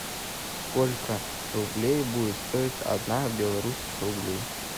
сколько рублей будет стоить одна белорусских рублей